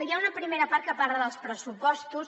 hi ha una primera part que parla dels pressupostos